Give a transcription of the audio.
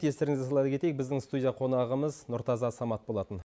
естеріңізге сала кетейік біздің студия қонағымыз нұртаза самат болатын